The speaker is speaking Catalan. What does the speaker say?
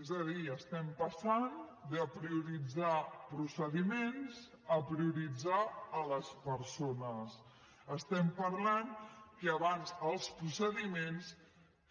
és a dir estem passant de prioritzar procediments a prioritzar les persones estem parlant que abans els procediments